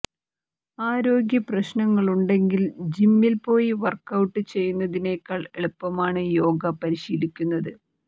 ആരോഗ്യ പ്രശ്നങ്ങളുണ്ടെങ്കിൽ ജിമ്മിൽ പോയി വർക്കൌട്ട് ചെയ്യുന്നതിനെക്കാൾ എളുപ്പമാണ് യോഗ പരിശീലിക്കുന്നത്